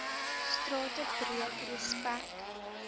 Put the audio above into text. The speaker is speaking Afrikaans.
strate breek respek